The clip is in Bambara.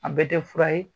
A bɛɛ tɛ fura ye